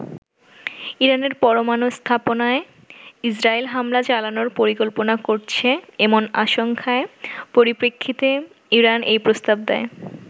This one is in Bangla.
ইরানের পরমানু স্থাপনায় ইসরাইল হামলা চালানোর পরিকল্পনা করছে এমন আশঙ্কার পরিপ্রেক্ষিতে ইরান এই প্রস্তাব দেয়।